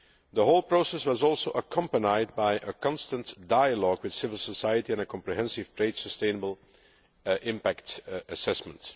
The whole process was also accompanied by a constant dialogue with civil society and a comprehensive trade sustainable impact assessment.